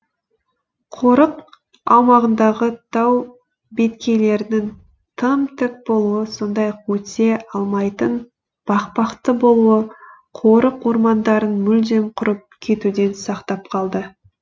қорық аумағындағы тау беткейлерінің тым тік болуы сондай ақ өте алмайтын бақпақты болуы қорық ормандарын мүлдем құрып кетуден сақтап қалды